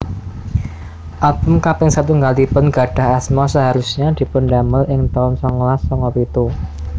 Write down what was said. Album kaping satunggalipun gadhah asma Seharusnya dipundamel ing taun songolas songo pitu